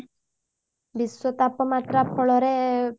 ବିଶ୍ଵ ତାପମାତ୍ରା ଫଳରେ